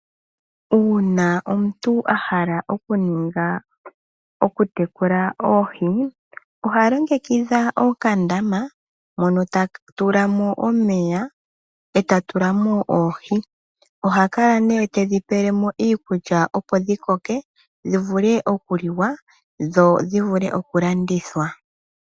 Uuna omuntu ahala oku tekula oohi oha longekidha okandama mono ta tulamo omeya eta tulamo oohi ,oha kala nee tedhi pelemo iikulya opo dhi koke dhivule oku liwa dho dhivule oku landithwa.